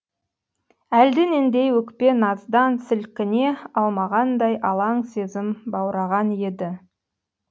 әлденендей өкпе наздан сілкіне алмағандай алаң сезім баураған еді